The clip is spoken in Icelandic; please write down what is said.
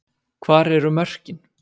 Hvar eru mörkin?